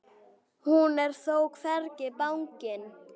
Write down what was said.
Hún er þó hvergi bangin.